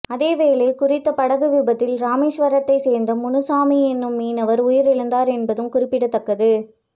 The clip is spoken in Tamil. அதேவேளை குறித்த படகு விபத்தில் இரமேஸ்வரத்தை சேர்ந்த முனுசாமி எனும் மீனவர் உயிரிழந்தார் என்பதும் குறிப்பிடத்தக்கது